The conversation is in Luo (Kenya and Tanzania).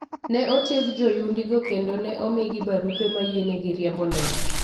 Ne otieg joyundigo kendo ne omigi barupe ma yienegi riembo ndege.